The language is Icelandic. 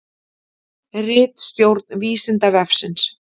Ritstjórn Vísindavefsins.